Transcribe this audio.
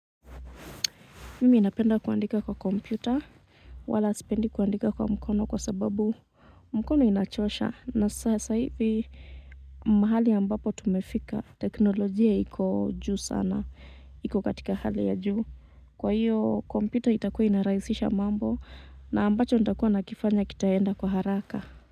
Mimi ninapenda kuandika kwa kompyuta wala sipendi kuandika kwa mkono kwa sababu mkono inachosha na sasa hivi mahali ambapo tumefika teknolojia iko juu sana iko katika hali ya juu. Kwa hiyo kompyuta itakuwa inarahisisha mambo na ambacho nitakuwa nakifanya kitaenda kwa haraka.